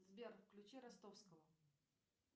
сбер включи ростовского